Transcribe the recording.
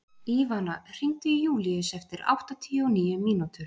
Ívana, hringdu í Júlílus eftir áttatíu og níu mínútur.